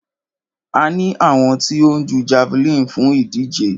A ní àwọn tí ó ń jú javeline fún ìdíje.